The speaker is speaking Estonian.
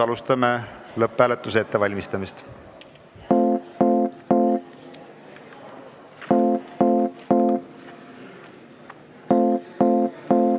Alustame lõpphääletuse ettevalmistamist.